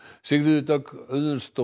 Sigríður Dögg Auðunsdóttir